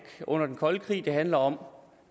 under den kolde krig det handler om